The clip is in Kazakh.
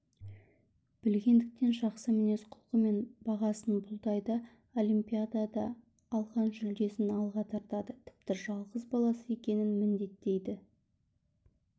білгендіктен жақсы мінез-құлқы мен бағасын бұлдайды олимпиадада алған жүлдесін алға тартады тіпті жалғыз баласы екенін міндеттейді